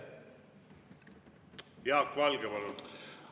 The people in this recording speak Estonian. Jaak Valge, palun!